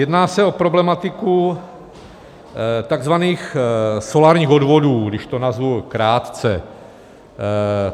Jedná se o problematiku takzvaných solárních odvodů, když to nazvu krátce.